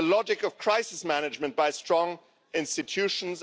the logic of crisis management by strong institutions